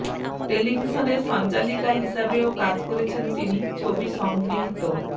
টেলিভিশনের সঞ্চালিকা হিসাবেও কাজ করেছেন তিনি ছবি সংগৃহীত